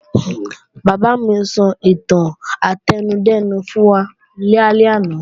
Bàbá mi sọ ìtàn átẹnudẹ́nu fún wa lálẹ́ àná